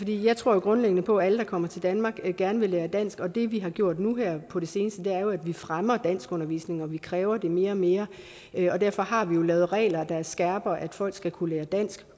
jeg tror grundlæggende på at alle der kommer til danmark gerne vil lære dansk og det vi har gjort nu her på det seneste er jo at vi har fremmet danskundervisningen og vi kræver det mere og mere derfor har vi lavet regler der skærper at folk skal kunne lære dansk